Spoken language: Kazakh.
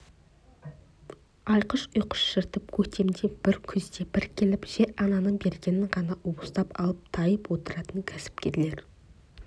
айқыш-ұйқыш жыртып көктемде бір күзде бір келіп жер-ананың бергенін ғана уыстап алып тайып отыратын кәсіпкерлер